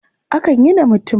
Akan yi da mutum.